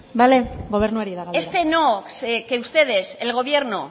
bale gobernuari da galdera este no que ustedes al gobierno